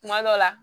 Kuma dɔ la